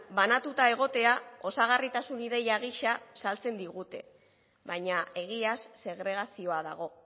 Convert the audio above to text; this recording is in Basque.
banatuta egotea osagarritasun ideia gisa saltzen digute baina egiaz segregazioa dago